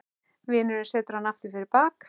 Vinurinn setur hana aftur fyrir bak.